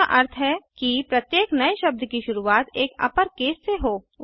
जिसका अर्थ है कि प्रत्येक नए शब्द की शुरूवात एक अपरकेस से हो